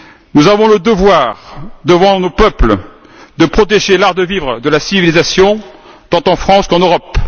Nous avons le devoir devant nos peuples de protéger l'art de vivre de la civilisation tant en France qu'en Europe.